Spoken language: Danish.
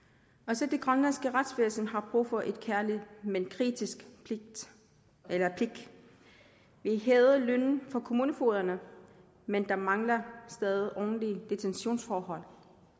også det grønlandske retsvæsen har brug for et kærligt men kritisk blik vi hævede lønnen for kommunefogederne men der mangler stadig ordentlige detentionsforhold